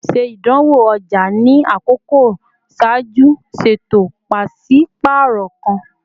Ṣe idanwo ọja ni akọkọ ṣaaju ṣeto paṣipaarọ kan!